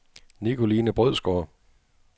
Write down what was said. Nikoline Brødsgaard